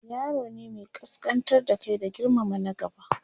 yaro ne Mai kaskantar da Kai da girmama na gaba